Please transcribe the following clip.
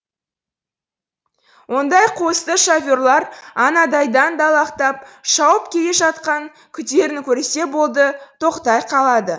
ондай қуысты шоферлар анадайдан далақтап шауып келе жатқан күдеріні көрсе болды тоқтай қалады